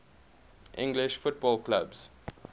english football clubs